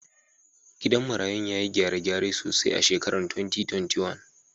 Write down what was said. Gidan marayun ya yi gyare-gyare sosai a shekarar 2021.